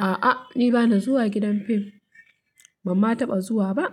A'a, ni ba na zuwa gidan fim. Ban ma taɓa zuwa ba.